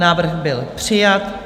Návrh byl přijat.